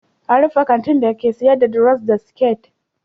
An rufe kantin dake sayar da duros da siket.